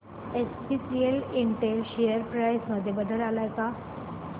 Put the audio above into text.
SPS Intel share price मध्ये बदल आलाय का